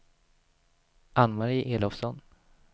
Ann-Mari Elofsson